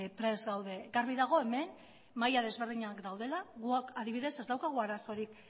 prest gaude garbi dago hemen maila desberdinak daudela guk adibidez ez daukagu arazorik